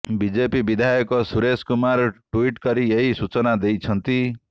BJP ବିଧାୟକ Suresh Kumar tweet କରି ଏହି ସୂଚନା ଦେଇଛନ୍ତି